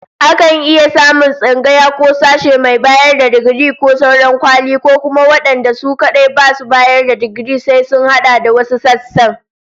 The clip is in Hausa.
Akan iya samun tsangaya ko sashe mai bayar da digiri ko sauran kwali, ko kuma wadanda su kadai basu bayar da digiri sai sun hada da wasu sassan